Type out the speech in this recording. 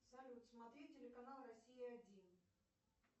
салют смотреть телеканал россия один